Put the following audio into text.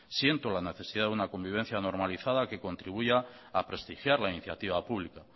siento la necesidad de una convivencia normalizada que contribuya a prestigiar la iniciativa pública